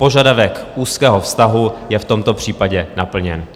Požadavek úzkého vztahu je v tomto případě naplněn.